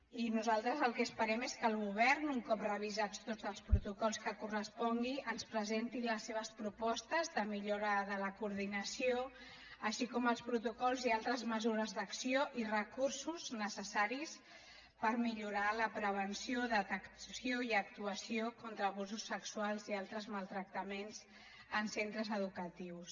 i nosaltres el que esperem és que el govern un cop revisats tots els protocols que correspongui ens presenti les seves propostes de millora de la coordinació així com els protocols i altres mesures d’acció i recursos necessaris per millorar la prevenció detecció i actuació contra abusos sexuals i altres maltractaments en centres educatius